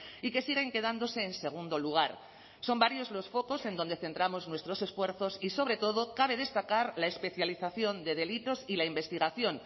y que siguen quedándose en segundo lugar son varios los focos en donde centramos nuestros esfuerzos y sobre todo cabe destacar la especialización de delitos y la investigación